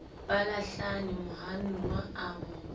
ba lahlane mohanuwa a mo